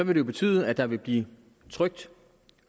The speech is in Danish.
vil betyde at der vil blive trykt